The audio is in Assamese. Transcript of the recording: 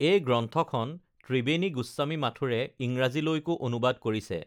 এই গ্ৰন্থখন ত্ৰিবেণী গোস্বামী মাথুৰে ইংৰাজীলৈকো অনুবাদ কৰিছে